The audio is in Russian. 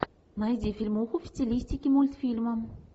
найди фильмуху в стилистике мультфильма